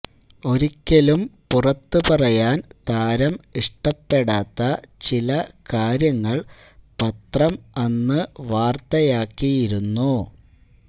ഒരിക്കലും പുറത്തുപറയാന് താരം ഇഷ്ടപ്പെടാത്ത ചിലകാര്യങ്ങള് പത്രം അന്നു വാര്ത്തയാക്കിയിരുന്നു